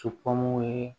Cɔmɔw ye